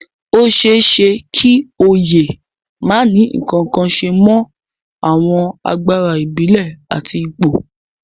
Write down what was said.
Ó ṣeé ṣe kí oyè má ní ǹkankan ṣe mọ àwọn agbára ìbílẹ̀ àti ipò